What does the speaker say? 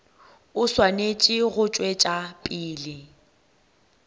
e swanetše go tšwetša pele